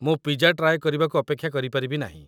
ମୁଁ pizza try କରିବାକୁ ଅପେକ୍ଷା କରିପାରିବି ନାହିଁ।